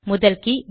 முதல் கே